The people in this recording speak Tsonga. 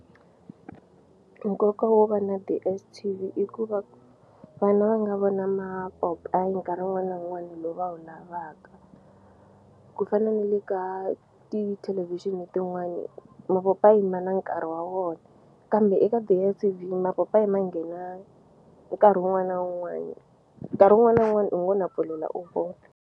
Nkoka wo va na DSTV i ku va vana va nga vona mapopayi nkarhi wun'wani na wun'wani lowu va wu lavaka ku fana ne le ka tithelevhixini tin'wani mapaopayi ma na nkarhi wa wona kambe eka DSTV mapopayi ma nghena nkarhi wun'wana na wun'wani nkarhi wun'wani na wun'wani u ngo na pfulela u vona.